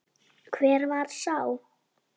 Hver var sá?